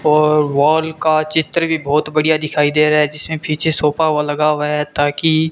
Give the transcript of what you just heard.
और वॉल का चित्र भी बहोत बढ़िया दिखाई दे रहा है जिसमें पीछे सोफा व लगा हुआ है ताकि--